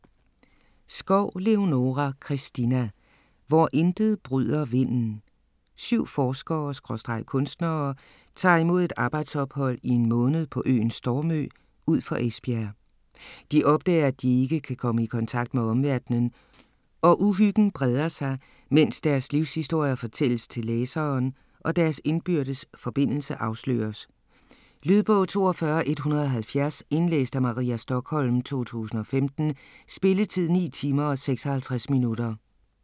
Skov, Leonora Christina: Hvor intet bryder vinden Syv forskere/kunstnere tager imod et arbejdsophold i en måned på øen Stormø ud for Esbjerg. De opdager, at de ikke kan komme i kontakt med omverdenen, og uhyggen breder sig, mens deres livshistorier fortælles til læseren og deres indbydes forbindelse afsløres. Lydbog 42170 Indlæst af Maria Stokholm, 2015. Spilletid: 9 timer, 56 minutter.